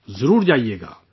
ضرور جائیے گا